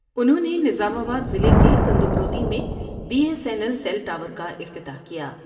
انہوں نے نظام آباد ضلع کے کند وکروتی میں B S N L cell tower کا افتتاح کیا ۔